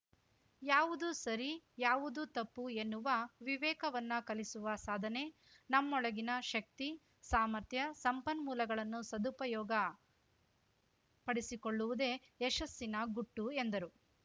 ಯಾವುದು ಸರಿ ಯಾವುದು ತಪ್ಪು ಎನ್ನುವ ವಿವೇಕವನ್ನ ಕಲಿಸುವ ಸಾಧನೆ ನಮ್ಮೊಳಗಿನ ಶಕ್ತಿ ಸಾಮರ್ಥ್ಯ ಸಂಪನ್ಮೂಲಗಳನ್ನು ಸದುಪಯೋಗ ಪಡಿಸಿಕೊಳ್ಳುವುದೇ ಯಶಸ್ಸಿನ ಗುಟ್ಟು ಎಂದರು